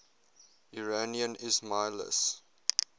iranian ismailis